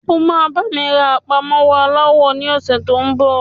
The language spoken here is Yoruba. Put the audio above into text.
O máa bá mi rán àpamọ́wọ́ aláwọ ní ọ̀sẹ́ tó ń bọ̀.